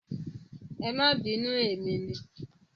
Ẹ máa bínú emi ni.